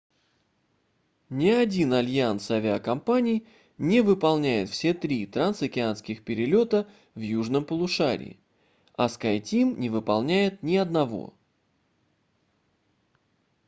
ни один альянс авиакомпаний не выполняет все три трансокеанских перелета в южном полушарии а skyteam не выполняет ни одного